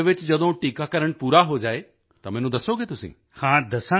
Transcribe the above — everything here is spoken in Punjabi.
ਤੁਹਾਡੇ ਪਿੰਡ ਵਿੱਚ ਜਦੋਂ ਟੀਕਾਕਰਣ ਪੂਰਾ ਹੋ ਜਾਵੇ ਤਾਂ ਮੈਨੂੰ ਦੱਸੋਗੇ ਤੁਸੀਂ